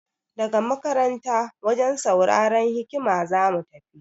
Daga makaranta wajen sauraran hiƙaya za mu.